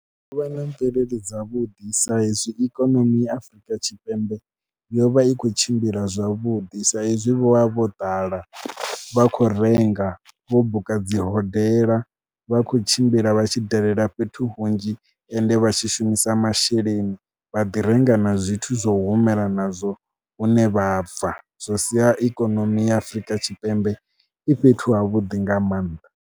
U vha na mvelele dzavhuḓi sa izwi ikonomi ya Afrika Tshipembe yo vha i khou tshimbila zwavhuḓi sa izwi vho vha vho ḓala, vha khou renga, vho buka dzi hodela vha khou tshimbila vha tshi dalela fhethu hunzhi ende vha tshi shumisa masheleni vha ḓi renga na zwithu zwo humela nazwo hune vha bva zwo sia ikonomi ya Afrika Tshipembe i fhethu havhuḓi nga maanḓa.